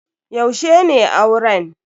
Yaushe ne auren?